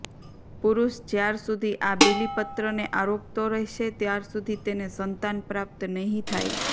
પુરુષ જ્યાર સુધી આ બીલીપત્ર ને આરોગતો રહેશે ત્યાર સુધી તેને સંતાન પ્રાપ્ત નહી થાય